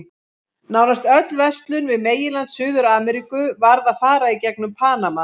Nánast öll verslun við meginland Suður-Ameríku varð að fara í gegnum Panama.